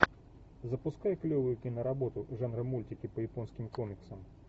запускай клевую киноработу жанра мультики по японским комиксам